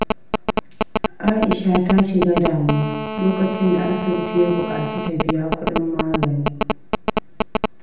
Aisha ta shiga damuwa lokacin da asibiti ya bukaci ta biya kudin magani.